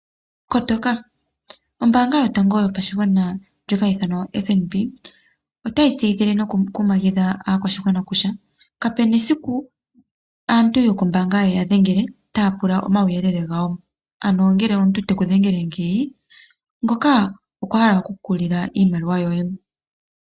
Kotoka ombaanga yotango yopashigwana o FNB otayi tseyithile oshigwana noku kumagidha aakwashigwana kutya kapuna esiku aantu yokombaanga ye ya dhengele taya pula Omauyelele gawo. Ano ngele omuntu teku dhengele ngeyi. Ngoka okwa hala oku ku lila iimaliwa yoye.